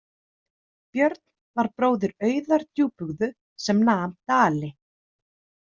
Björn var bróðir Auðar djúpúðgu sem nam Dali.